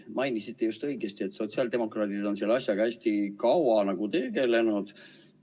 Mainisite õigesti, et sotsiaaldemokraadid on selle asjaga hästi kaua tegelenud.